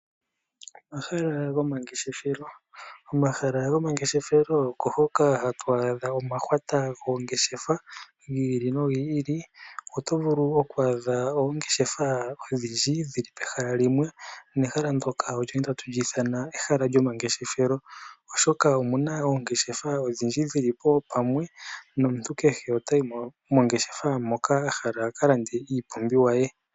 Omahala gomangeshefelo. Omahala gomangeshefelo oko hoka hatu adha omahwata goongeshefa gi ili nogi ili. Oto vulu okuadha oongeshefa odhindji dhi li pehala limwe, nomuntu kehe otayi mo mongeshefa moka a hala a ka lande iipumbiwa ye.